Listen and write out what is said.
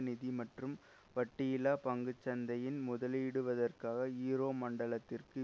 நிதி மற்றும் வட்டியில்லா பங்கு சந்தையில் முதலிடுவதற்காக ஈரோ மண்டலத்திற்கு